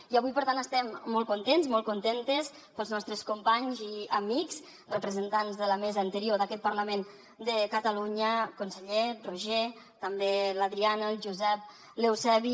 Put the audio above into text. i avui per tant estem molt contents molt contentes pels nostres companys i amics representants de la mesa anterior d’aquest parlament de catalunya conseller roger també l’adriana el josep l’eusebi